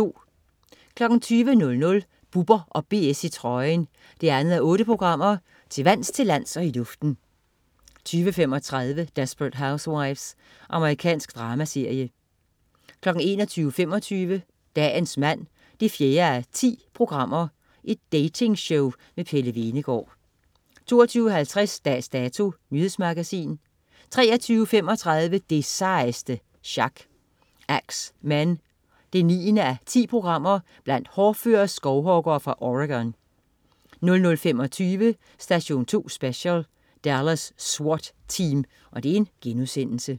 20.00 Bubber & BS i trøjen 2:8. Til vands, til lands og i luften 20.35 Desperate Housewives. Amerikansk dramaserie 21.25 Dagens mand 4:10. Datingshow med Pelle Hvenegaard 22.50 Dags Dato. Nyhedsmagasin 23.35 Det sejeste sjak. Ax Men 9:10. Blandt hårdføre skovhuggere fra Oregon 00.25 Station 2 Special: Dallas SWAT Team*